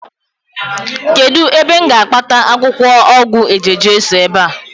kedu ebe m ga-akpata akwukwo ogwu eje-jesu ebe a?